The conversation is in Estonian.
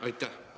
Aitäh!